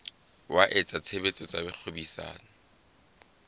wa etsa tshebetso tsa kgwebisano